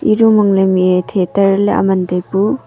ei room mihei theater ley aa man taipu.